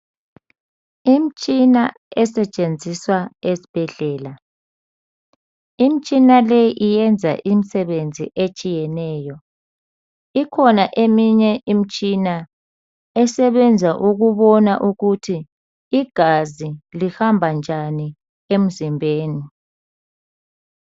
Imtshina, esetshenziswa ezibhedlela. Imtshina leyi, iyenza imisebenzi etshiyeneyo. Ikhona eminye imitshina esebenza ukubona ukuthi igazi lihamba njani emzimbeni.